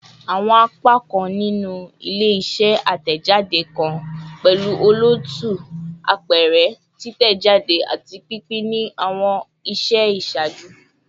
Awọn apakan ninu ile-iṣẹ atẹjade kan pẹlu olootu, apẹrẹ, titẹjade, ati pinpin ni awọn iṣẹ iṣaaju